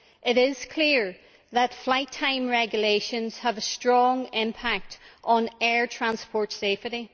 It is clear that flight time regulations have a strong impact on air transport safety.